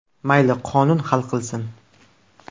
Mayli qonun hal qilsin .